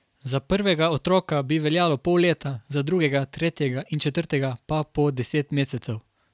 Za prvega otroka bi veljalo pol leta, za drugega, tretjega in četrtega pa po deset mesecev.